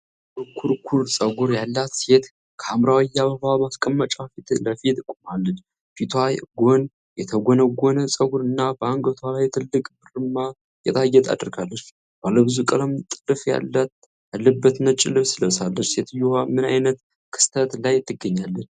የጥቁር ኩርኩር ጸጉር ያላት ሴት ከሐምራዊ የአበባ ማስቀመጫ ፊት ለፊት ቆማለች። ፊቷ ጎን የተጎነጎነ ፀጉርና በአንገቷ ላይ ትልቅ ብርማ ጌጣጌጥ አድርጋለች። ባለብዙ ቀለም ጥልፍ ያለበት ነጭ ልብስ ለብሳለች። ሴትየዋ ምን ዓይነት ክስተት ላይ ትገኛለች?